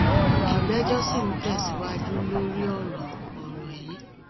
ìgbẹjọ sì ń tẹsíwájú lórí ọrọ ọrọ yìí